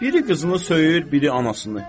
Biri qızını söyür, biri anasını.